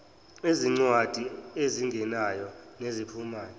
ezincwadi ezingenayo neziphumayo